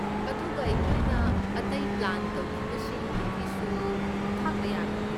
ꯑꯗꯨꯒ ꯑꯩꯈꯣꯏꯅ ꯑꯇꯩ ꯄ꯭ꯂꯥꯟ ꯇꯧꯈꯤꯕꯁꯤꯡꯗꯨꯒꯤꯁꯨ ꯈꯥꯛꯇ ꯌꯥꯔꯣꯏ꯫